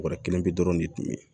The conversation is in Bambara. Bɔrɔ kelen bi dɔrɔn de tun bɛ yen